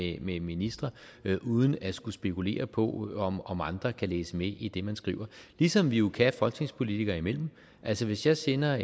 jeg med ministre uden at skulle spekulere på om andre kan læse med i det man skriver ligesom vi jo kan folketingspolitikere imellem altså hvis jeg sender